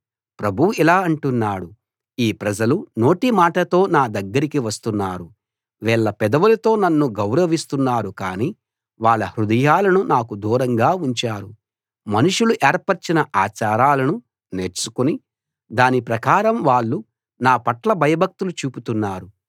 ప్రభువు ఇలా అంటున్నాడు ఈ ప్రజలు నోటిమాటతో నా దగ్గరకి వస్తున్నారు వీళ్ళు పెదవులతో నన్ను గౌరవిస్తున్నారు కానీ వాళ్ళ హృదయాలను నాకు దూరంగా ఉంచారు మనుషులు ఏర్పరచిన ఆచారాలను నేర్చుకుని దాని ప్రకారం వాళ్ళు నా పట్ల భయభక్తులు చూపుతున్నారు